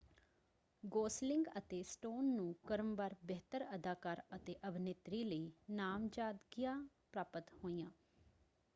Gosling ਅਤੇ Stone ਨੂੰ ਕ੍ਰਮਵਾਰ ਬਿਹਤਰ ਅਦਾਕਾਰ ਅਤੇ ਅਭਿਨੇਤਰੀ ਲਈ ਨਾਮਜ਼ਦਗੀਆਂ ਪ੍ਰਾਪਤ ਹੋਈਆਂ।